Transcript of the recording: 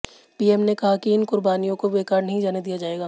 PM ने कहा कि इन कुर्बानियों को बेकार नहीं जाने दिया जाएगा